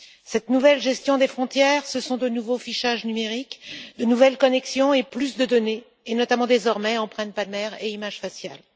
Cette nouvelle gestion des frontières, ce sont de nouveaux fichages numériques, de nouvelles connections et plus de données et, notamment, désormais, des empreintes palmaires et des images faciales.